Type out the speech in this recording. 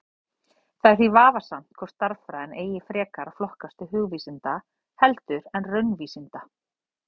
Það er því vafasamt hvort stærðfræðin eigi frekar að flokkast til hugvísinda heldur en raunvísinda.